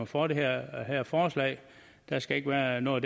for det her her forslag der skal ikke være noget